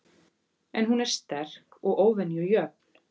En hún er sterk og óvenju jöfn.